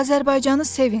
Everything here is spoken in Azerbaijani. Azərbaycanı sevin.